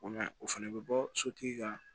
O ma ɲi o fana bɛ bɔ sotigi ka